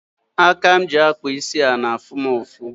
Aka m ji akpa isi a na-afụ m ụfụ.